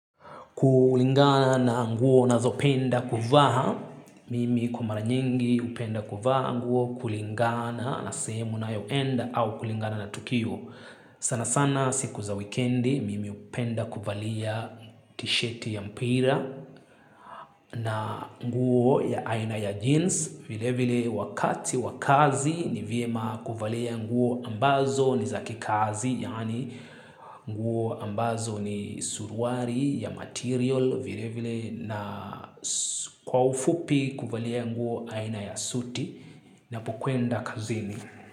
Kulingana na nguo nazopenda kuvaa, mimi kwa mara nyingi hupenda kuvaa nguo kulingana na sehemu nayoenda au kulingana na tukio. Sana sana siku za wikendi mimi hupenda kuvalia t-shirt ya mpira na nguo ya aina ya jeans vilevile wakati wa kazi ni vyema kuvalia nguo ambazo ni za kikazi yaani nguo ambazo ni suruali ya material vilevile na kwa ufupi kuvalia nguo aina ya suti napo kwenda kazini.